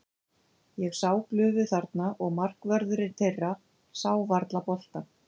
Ég sá glufu þarna og markvörðurinn þeirra sá varla boltann.